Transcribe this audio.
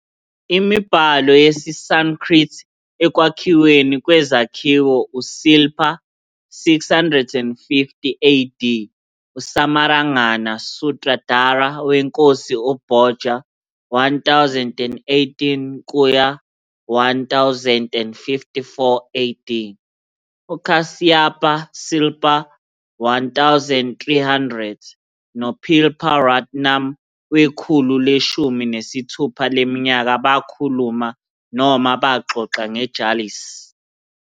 Imibhalo yesiSanskrit ekwakhiweni kwezakhiwo uSilpa, 650 AD, uSamarangana-Sutradhara weNkosi uBhoja, 1018-1054 AD, uKāśyapā-Śilpā, 1300, no-pilpā-Ratnam wekhulu leshumi nesithupha leminyaka bakhuluma noma baxoxa ngejalis.